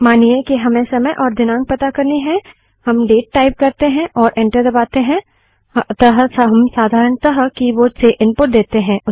मानिए कि हमें समय और दिनाँक पता करनी है हम केवल कीबोर्ड से डेट टाइप करते हैं और एंटर दबाते हैं अतः हम साधारणतः कीबोर्ड से इनपुट देते हैं